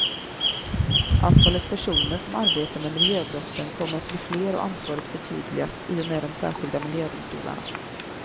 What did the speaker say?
Antalet personer som arbetar med miljöbrotten kommer att bli fler och ansvaret förtydligas i och med de särskilda miljödomstolarna.